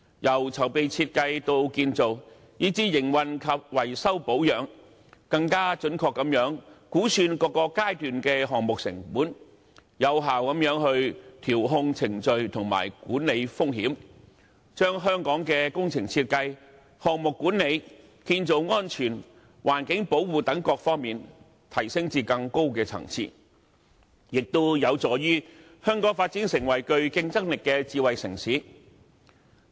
由籌備、設計到建造，以至營運及維修保養，更準確地估算各個階段的項目成本，有效地調控程序和管理風險，將香港的工程設計、項目管理、建造安全及環境保護等各方面提升至更高層次，亦有助香港發展成為具競爭力的智慧城市。